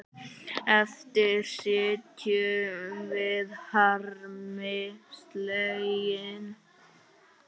Eftir sitjum við harmi slegin.